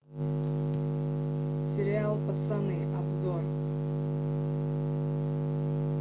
сериал пацаны обзор